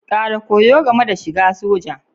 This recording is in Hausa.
Ƙara koyo game da shiga soja.